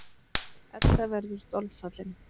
Edda verður dolfallin.